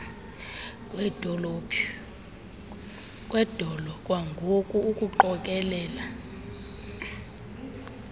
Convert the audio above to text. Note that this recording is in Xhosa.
kwedolo kwangoku ukuqokelela